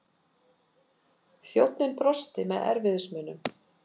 Þjónninn brosti með erfiðismunum.